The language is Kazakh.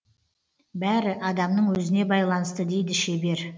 бәрі адамның өзіне байланысты дейді шебер